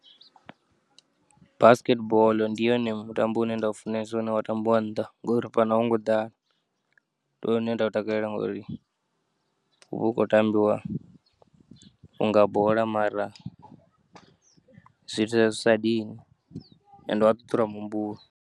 Basket boḽo ndi yone mutambo une nda u funesa une wa tambiwa nnḓa ngori fhano a wu ngo ḓala, ndi wone une nda u takalela ngori huvha hu kho tambiwa nga bola mara zwiita zwi sa dini ende u ya ṱuṱula muhumbulo.